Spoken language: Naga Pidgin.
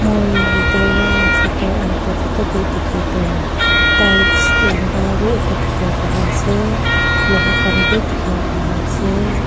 moi yatey wa photo uh photo tey dikhe Tu tiles lamba wi eta dikhiwo pariase loha khanbi dikhiwo pariase.